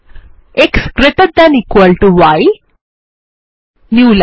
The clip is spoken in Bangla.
x greater than equal to y new line